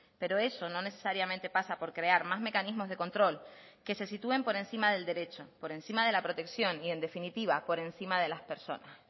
pero eso no necesariamente pasa por crear más mecanismos de control que se sitúen por encima del derecho por encima de la protección y en definitiva por encima de las personas